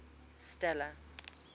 stella